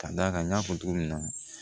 Ka d'a kan n y'a fɔ cogo min na